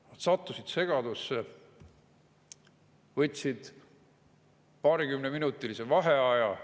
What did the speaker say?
Nad sattusid segadusse, võtsid paarikümneminutilise vaheaja.